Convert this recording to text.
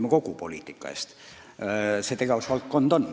See on selle ministri tegevusvaldkond.